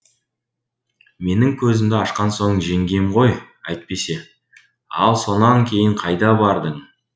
менің көзімді ашқан со жеңгем ғой әйтпесе ал сонан кейін қайда бардың